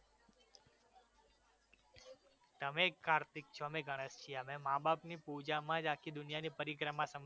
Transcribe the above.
તમે કાર્તિક છો અમે ગણેશ છીએ અમે મા બાપની પુજામાં જ આખી દુનિયાની પરિક્રમા સમજીએ